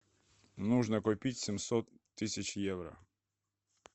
нужно купить семьсот тысяч евро